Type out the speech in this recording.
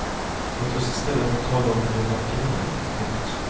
Låt oss i stället tala om hur vacker hon är. punkt